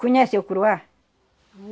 Conhece o Curuá?